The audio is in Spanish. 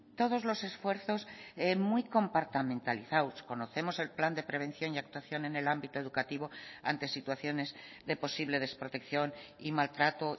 todos los esfuerzos muy compartamentalizados conocemos el plan de prevención y actuación en el ámbito educativo ante situaciones de posible desprotección y maltrato